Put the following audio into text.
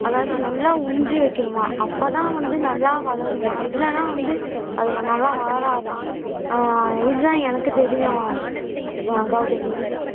அதாவது நல்லா உன்ரி வெக்கணுமாம் அப்ப தான் வந்து நல்லா வளருமாம் இல்லேன்னா வந்து அது நல்லா வளராதாம் ஆஹ் இது தான் எனக்கு தெரியும் கவுதமி